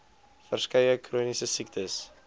verskeie chroniese siektes